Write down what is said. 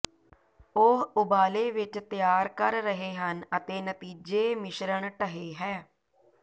ਉਹ ਉਬਾਲੇ ਵਿੱਚ ਤਿਆਰ ਕਰ ਰਹੇ ਹਨ ਅਤੇ ਨਤੀਜੇ ਮਿਸ਼ਰਣ ਢਹੇ ਹੈ